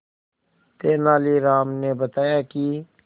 तेनालीराम ने बताया कि